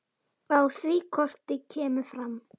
Á því korti kemur fram